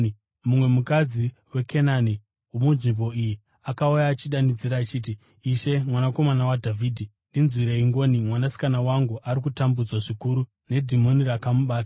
Mumwe mukadzi muKenani womunzvimbo iyi akauya achidanidzira achiti, “Ishe, mwanakomana waDhavhidhi, ndinzwirei ngoni! Mwanasikana wangu ari kutambudzwa zvikuru nedhimoni rakamubata.”